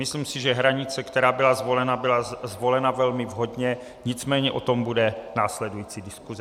Myslím si, že hranice, která byla zvolena, byla zvolena velmi vhodně, nicméně o tom bude následující diskuse.